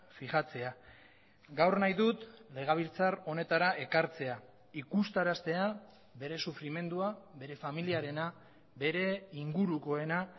fijatzea gaur nahi dut legebiltzar honetara ekartzea ikustaraztea bere sufrimendua bere familiarena bere ingurukoena